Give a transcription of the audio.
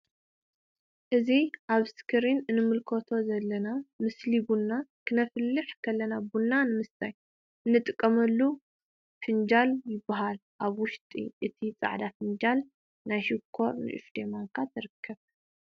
እዚ ኣብ እስክሪን እንምልከቶ ዘለና ምስሊ ቡና ክነፍልሕ ከለና ቡና ንምስታይ እንጥቀመሉ ፍንጃል ይብሃል። ኣብ ውሽጢ እዚ ጻዕዳ ፍንጃል ናይ ሽኮር ን እሽተይ ማንካ ትርከብ።